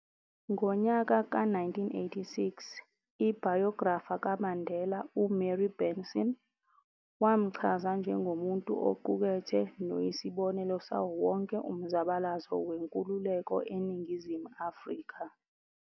Ngonyaka ka 1986, ibhayografa kaMandela uMary Benson, wamchaza njengomuntu oqukethe noyisibonelo sawo wonke umzabalazo wenkululeko eNingizimu Afrika.